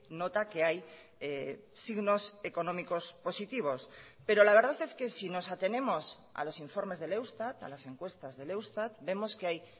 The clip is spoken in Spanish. nota que hay signos económicos positivos pero la verdad es que si nos atenemos a los informes del eustat a las encuestas del eustat vemos que hay